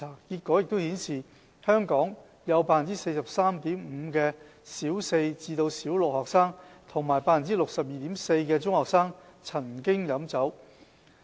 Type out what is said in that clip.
結果顯示，香港有 43.5% 的小四至小六學生和 62.4% 的中學生曾經飲酒。